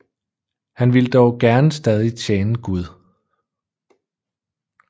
Han ville dog gerne stadig tjene Gud